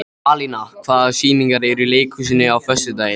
Alína, hvaða sýningar eru í leikhúsinu á föstudaginn?